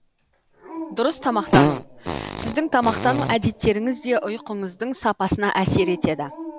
дұрыс тамақтану сіздің тамақтану әдеттеріңіз де ұйқыңыздың сапасына әсер етеді